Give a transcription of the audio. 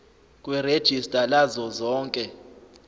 kwerejista lazo zonke